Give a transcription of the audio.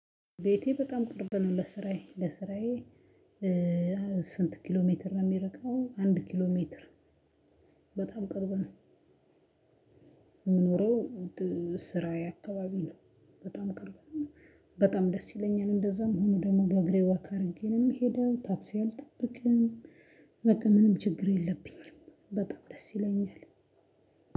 ቤቴ በጣም ቅርብ ነው ለስራዬ ለስራዬ ስንት ኪሎሜትር ነው የሚርቀው አንድ ኪሎሜትር። በጣም ቅርብ ነው። የምኖረው ስራዬ አካባቢ ነው። በጣም ቅርብ በጣም ደስ ይለኛል። እንደዛም ሆኖ ደግሞ በእግሬ ዋክ አድርጌ ነው የምሄደው ታክሲ አልጠብቅም። በቃ ምንም ችግር የለብኝም። በጣም ደስ ይለኛል።